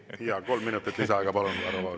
Jaa, kolm minutit lisaaega, palun!